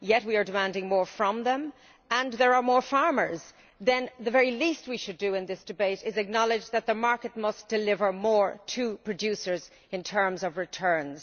We are demanding more from them, and there are more farmers, so the very least we should do in this debate is acknowledge that the market must deliver more to producers in terms of returns.